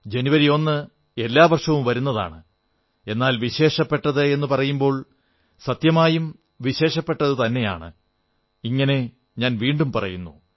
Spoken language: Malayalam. ജനുവരി 1 എല്ലാ വർഷവും വരുന്നതാണ് എന്നാൽ വിശേഷപ്പെട്ടത് എന്നു പറയുമ്പോൾ സത്യമായും വിശേഷപ്പെട്ടതുതന്നെയാണെന്ന് ഞാൻ വീണ്ടും പറയുന്നു